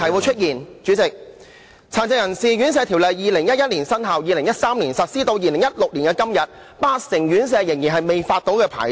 《殘疾人士院舍條例》在2011年生效 ，2013 年實施，到了2016年的今天，八成院舍仍然未獲發牌照。